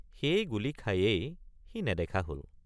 সেই গুলী খায়েই সি নেদেখা হল।